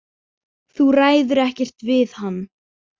Þú ræður ekkert við hann.